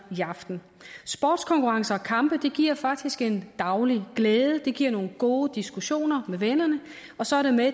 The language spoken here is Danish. i aften sportskonkurrencer og kampe giver faktisk en daglig glæde det giver nogle gode diskussioner med vennerne og så er det med